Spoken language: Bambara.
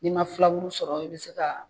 N'i man filaburu sɔrɔ i bɛ se ka